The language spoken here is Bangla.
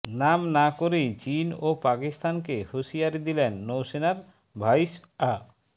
নাম না করেই চিন ও পাকিস্তানকে হুঁশিয়ারি দিলেন নৌসেনার ভাইস অ্য